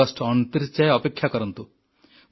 August 29 ଯାଏ ଅପେକ୍ଷା କରନ୍ତୁ